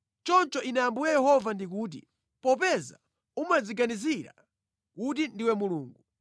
“ ‘Choncho Ine Ambuye Yehova ndikuti, “ ‘Popeza umadziganizira kuti ndiwe mulungu,